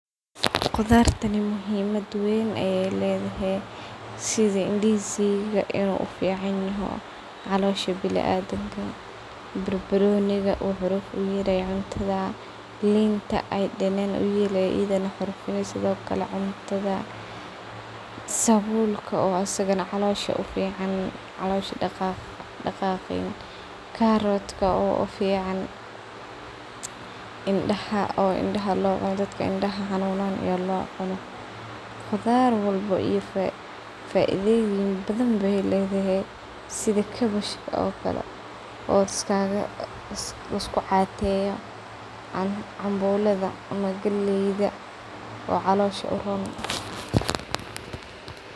Qudhartaan muhiimaad weyn ayee ledhe sidha; ndizi ga inoo uficanyaho caloosha binadimka, barbarooniga wuxu xuruf u yeelaya cuntadhal, iinta ay danaan u yeeli iyadho na xurfani sidho kale cuntadha, sabulka isaga na caloosha u ficaan caloosha daqaqedha, carrot oo u ficaan indaha oo indaha loo cuuno dadka indaha xanunyan aya loo cuno. Qudhaar walba iyo faaidhoyiin badhan aye ledhehe sidha; cabbage ka oo kale oo laisku cateyo, cambuladha ama galeyda oon caloosha uroon .